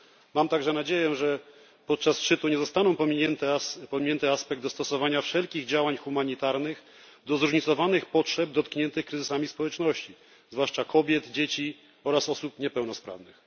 Mam także nadzieję, że podczas szczytu nie zostanie pominięty aspekt dostosowania wszelkich działań humanitarnych do zróżnicowanych potrzeb dotkniętych kryzysami społeczności, zwłaszcza kobiet, dzieci oraz osób niepełnosprawnych.